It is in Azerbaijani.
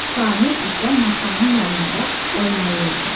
Samir isə masanın yanında oynayırdı.